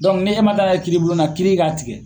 ni e man taa n'a ye kiiribulon na kiiri ka tigɛ